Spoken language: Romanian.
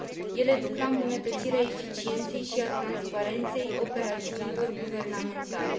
Ele duc la îmbunătățirea eficienței și a transparenței operațiunilor guvernamentale.